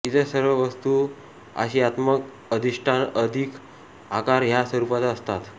इतर सर्व वस्तू आशयात्मक अधिष्ठान अधिक आकार ह्या स्वरूपाच्या असतात